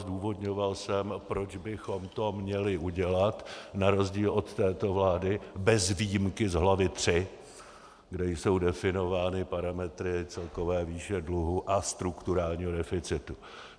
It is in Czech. Zdůvodňoval jsem, proč bychom to měli udělat, na rozdíl od této vlády bez výjimky z hlavy III, kde jsou definovány parametry celkové výše dluhů a strukturálního deficitu.